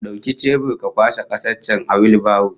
Dauki chebur ka kwashe kasar can a wheelbarrow